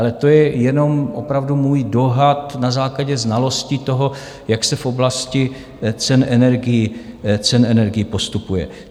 Ale to je jenom opravdu můj dohad na základě znalosti toho, jak se v oblasti cen energií postupuje.